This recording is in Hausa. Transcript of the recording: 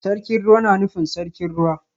Sarkin Ruwa na nufin Sarkin Ruwa